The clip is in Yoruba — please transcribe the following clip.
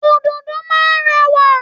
Ododo máa ń rẹwà.